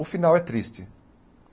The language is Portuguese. O final é triste.